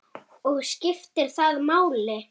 Og skiptir það máli?